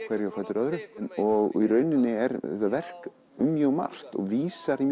hverju á fætur öðru og í rauninni er þetta verk um mjög margt og vísar í